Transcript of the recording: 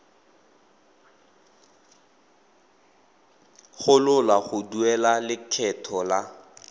gololwa go duela lekgetho la